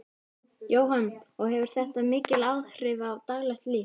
Jóhann: Og hefur þetta mikil áhrif á daglegt líf?